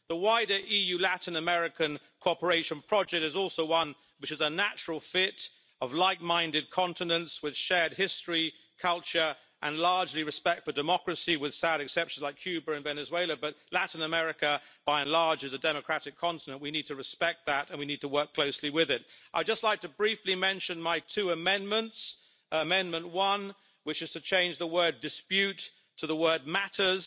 The wider EU Latin American cooperation project is also one which is a natural fit of like minded continents with shared history, culture, and, largely, respect for democracy, with sad exceptions like Cuba and Venezuela. But Latin America, by and large, is a democratic continent we need to respect that and we need to work closely with it. I would just like to briefly mention my two amendments Amendment 1, which is to change the word dispute' to the word matters'.